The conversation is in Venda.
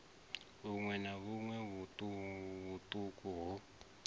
vhuṋwe na vhuṋwe vhuṱuku ho